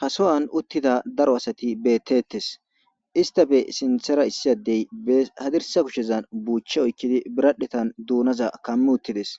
Ha sowan utida daro asat betetes. Issitappe sinthera utida issi adey bes adirsa kusheza buche oykid biradhetan dunaza kam utides,